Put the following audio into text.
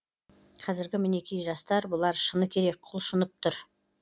қазіргі мінекей жастар бұлар шыны керек құлшынып тұр